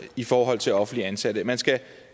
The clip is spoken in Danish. i forhold til offentligt ansatte man skal